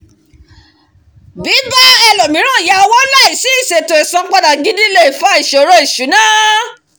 bíbá ẹlòmíràn yá owó láìsí ìṣètò isanpada gidi lè fa ìṣòro ìṣúná